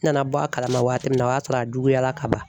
N nana bɔ a kalama waati min na o y'a sɔrɔ a juguyara ka ban.